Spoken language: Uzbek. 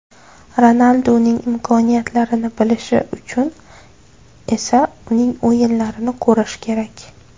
Ronalduning imkoniyatlarini bilishi uchun esa uning o‘yinlarini ko‘rishi kerak.